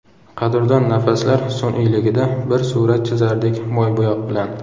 Qadrdon nafaslar sun’iyligida Bir surat chizardik moybo‘yoq bilan.